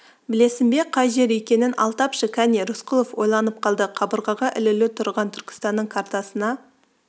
білесің бе қай жер екенін ал тапшы кәне рысқұлов ойланып қалды қабырғаға ілулі тұрған түркістанның картасына